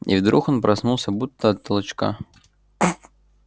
и вдруг он проснулся будто от толчка